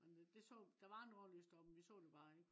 men det det så. der var nordlys derop men vi så det bare ikke